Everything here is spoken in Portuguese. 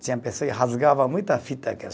Tinha pessoa que rasgava muita fita.